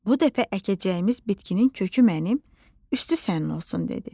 Bu dəfə əkəcəyimiz bitkinin kökü mənim, üstü sənin olsun dedi.